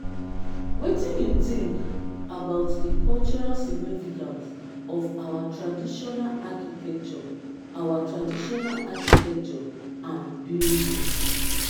wetin you think about di cultural significance of our traditional architecture our traditional architecture and buildings?